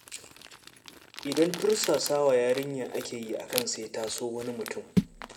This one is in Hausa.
Idan tursasawa yarinya aka yi akan sai ta so wani mutum.